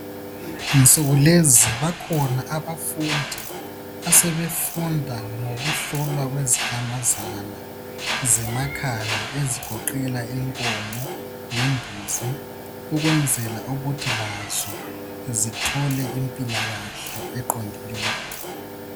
Izinsuku lezi bakhona abafundi asebefunda ngokuhlolwa kwezinyamazana zemakhaya ezigoqela inkomo lembuzi ukwenzela ukuthi lazo zithole impilakahle eqondileyo.